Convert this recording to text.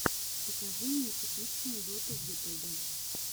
покажи мне типичную доту в ютубе